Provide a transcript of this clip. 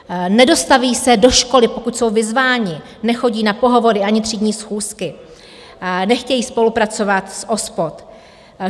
Nedostaví se do školy, pokud jsou vyzváni, nechodí na pohovory ani třídní schůzky, nechtějí spolupracovat s OSPOD.